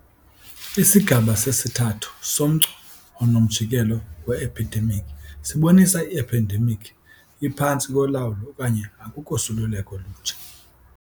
Isigaba sesithathu somgca onomjikelo we-ephidemikhi sibonisa i-ephendemikhi iphantsi kolawulo okanye akukho suleleko lutsha.